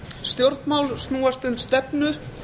stjórnmál snúast um stefnu